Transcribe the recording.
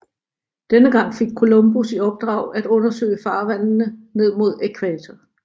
Denne gang fik Columbus i opdrag at undersøge farvandene ned mod ækvator